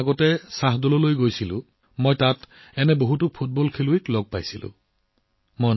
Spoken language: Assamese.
কেইসপ্তাহমান আগতে শ্বাহদললৈ যাওঁতে তাত এনে বহু ফুটবল খেলুৱৈ লগ পাইছিলো